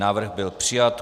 Návrh byl přijat.